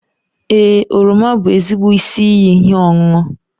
Ee, oroma bụ ezigbo isi iyi ihe ọṅụṅụ.